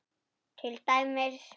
Ég tæmist.